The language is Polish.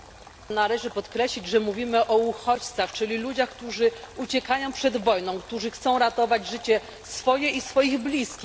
Należy podkreślić, że mówimy o uchodźcach, czyli ludziach, którzy uciekają przed wojną, którzy chcą ratować życie swoje i swoich bliskich.